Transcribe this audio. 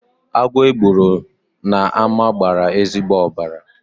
Agwọ e gburu n'ámá gbara ezigbo ọbara.